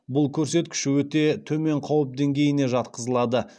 бұл көрсеткіш өте төмен қауіп деңгейіне жатқызылады